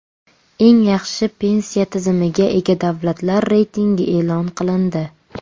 Eng yaxshi pensiya tizimiga ega davlatlar reytingi e’lon qilindi.